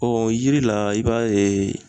yiri la i b'a ye